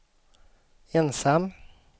ensam